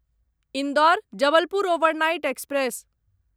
Indore Jabalpur overnight express